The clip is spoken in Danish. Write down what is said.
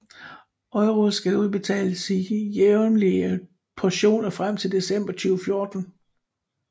EUR skulle udbetales i jævnlige portioner frem til december 2014